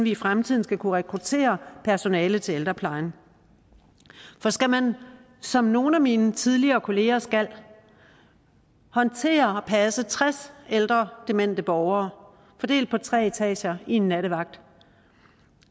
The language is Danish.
i fremtiden skal kunne rekruttere personale til ældreplejen for skal man som nogle af mine tidligere kolleger skal håndtere og passe tres ældre demente borgere fordelt på tre etager i en nattevagt